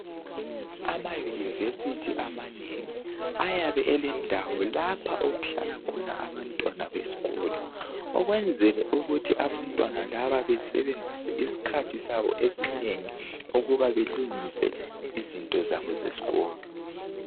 Ama university amanengi ayabe elendawo lapho okuhlala khona abantwana besikolo ukwenzela ukuthi abantwana laba besebenzise isikhathi sabo esinengi ukuba belungise izinto zabo zesikolo